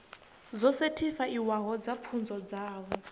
dzo sethifaiwaho dza pfunzo dzavho